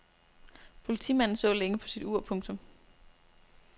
Politimanden så længe på sit ur. punktum